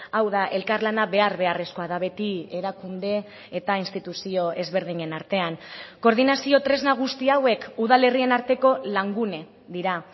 hau da elkarlana behar beharrezkoa da beti erakunde eta instituzio ezberdinen artean koordinazio tresna guzti hauek udalerrien arteko langune dira